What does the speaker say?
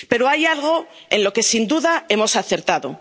Pero hay algo en lo que sin duda hemos acertado.